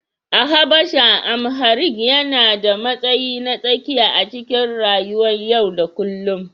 A Habasha, Amharic yana da matsayi na tsakiya a cikin rayuwar yau da kullum